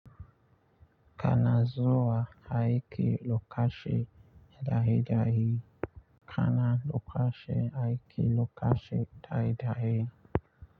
Kana zuwa aiki lokaci dai dai, kana lokaci aiki lokaci dai dai.